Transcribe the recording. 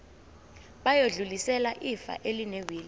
bayodlulisela ifa elinewili